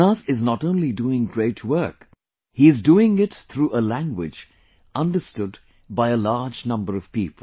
Jonas is not only doing great work he is doing it through a language understood by a large number of people